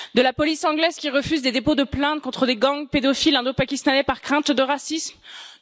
De la police anglaise qui refuse des dépôts de plainte contre les gangs pédophiles indo pakistanais, par crainte des accusations de racisme?